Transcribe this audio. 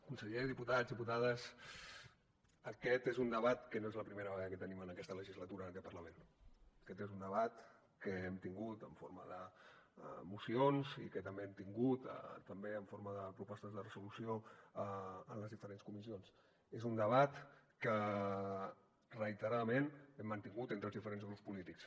conseller diputats i diputades aquest és un debat que no és la primera vegada que tenim en aquesta legislatura en aquest parlament aquest és un debat que hem tingut en forma de mocions i que també hem tingut també en forma de propostes de resolució en les diferents comissions és un debat que reiteradament hem mantingut entre els diferents grups polítics